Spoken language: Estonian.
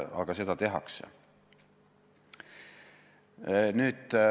Aga seda tehakse.